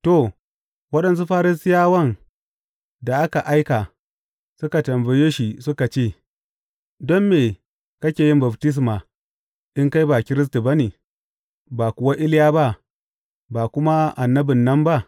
To, waɗansu Farisiyawan da aka aika suka tambaye shi suka ce, Don me kake yin baftisma in kai ba Kiristi ba ne, ba kuwa Iliya ba, ba kuma annabin nan ba?